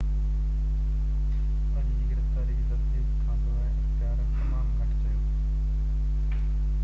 اڄ جي گرفتاري جي تصديق کان سواءِ اختيارين تمام گهٽ چيو